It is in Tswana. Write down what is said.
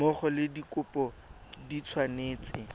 mmogo le dikopo di tshwanetse